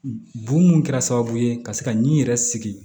Bon mun kɛra sababu ye ka se ka n yɛrɛ sigi